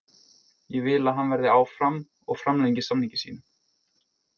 Ég vil að hann verði áfram og framlengi samningi sínum.